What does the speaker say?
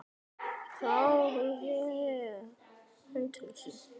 En hún var dáin.